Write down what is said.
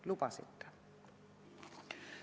Lubasite!